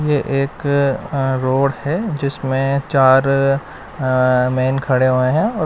ये एक अं रोड है जिसमें चार अं मेन खड़े हुए है।